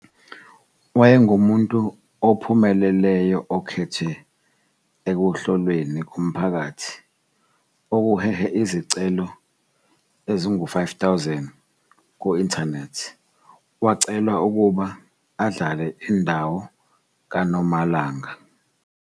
Wayengumuntu ophumeleleyo okhethwe ekuhlolweni komphakathi okuhehe izicelo ezingama-5 000 ku-inthanethi. Wacelwa ukuba adlale indawo ka-Normalanga.